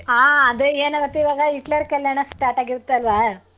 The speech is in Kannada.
ಹಾ ಅದೇ ಏನಗತ್ತೆ ಈವಾಗ ಹಿಟ್ಲರ್ ಕಲ್ಯಾಣ start ಆಗಿರುತ್ತೆ ಅಲ್ವ.